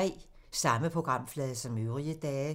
Samme programflade som øvrige dage